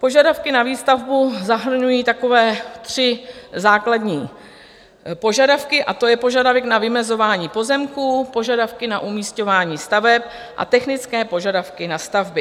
Požadavky na výstavbu zahrnují takové tři základní požadavky a to je požadavek na vymezování pozemků, požadavky na umísťování staveb a technické požadavky na stavby.